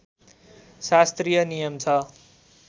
शास्त्रीय नियम छ